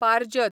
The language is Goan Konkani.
पारजत